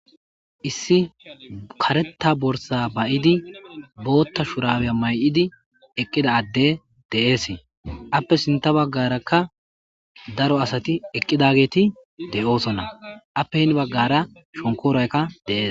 Issi kareta borsa bayidi bootta shuraweya may7idi eqqida adde de7ees appe sinta baggarakka daro asati eqqidageeti de7oosonna appe hin baggara shonkoraykka de7ees.